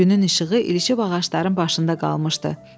Günün işığı ilişib ağacların başında qalmışdı.